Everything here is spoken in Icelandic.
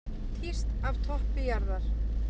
Tíst af toppi jarðar